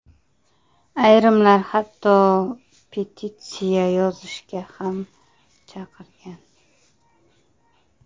Ayrimlar hatto petitsiya yozishga ham chaqirgan.